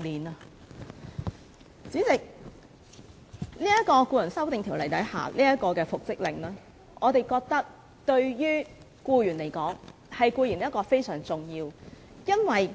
代理主席，《條例草案》提出的復職令，對僱員非常重要，因為